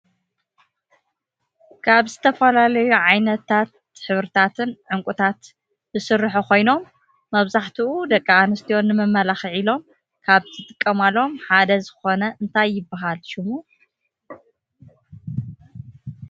ካብ ዝተፈላለዩ ዓይነታት ሕብርታትን ዕንቁታት ዝስርሑ ኮይኖም መብዛሕቲኡ ደቂ አንስትዮ ነመመላክዒ ኢሎም ካብ ዝጥቀምሎም ሓደ ዝኮነ እንታይ ይብሃል ሸሙ ?